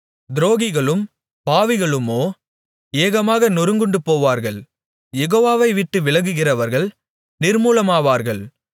துரோகிகளும் பாவிகளுமோ ஏகமாக நொறுங்குண்டுபோவார்கள் யெகோவாவை விட்டு விலகுகிறவர்கள் நிர்மூலமாவார்கள்